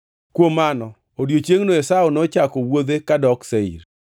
Kuom mano odiechiengʼno Esau nochako wuodhe ka odok Seir.